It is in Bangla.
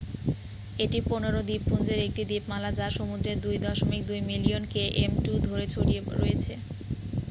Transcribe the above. এটি 15 দ্বীপপুঞ্জের একটি দ্বীপমালা যা সমুদ্রের 2.2 মিলিয়ন km2 ধরে ছড়িয়ে রয়েছে